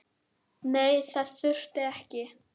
Nei, þess þurfti ég ekki.